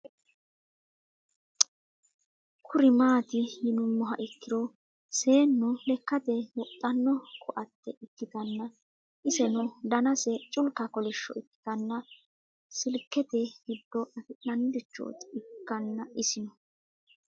Kuri mati yinumoha ikiro seenu lekate woxano koate ikitana iseno danase culika kolisho ikitana silikete gido afina'ni richot ikana isino